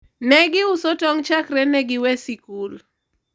ne giuso tong' chakre ne gi we sikul